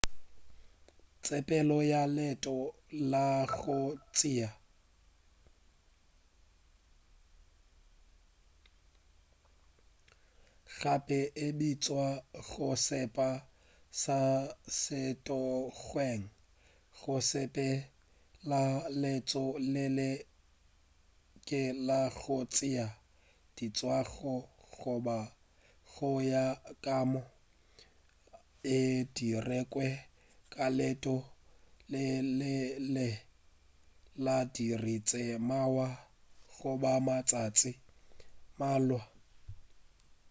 tsepelo ya leeto la go tšea diswantšho gape e bitšwa go sepela ka sethokgweng go sepela leeto le letelele la go tšea diswantšho goba go ya ka maoto e dirilwe ka leeto le letelele la diiri tše mmalwa goba matšatši a mmalwa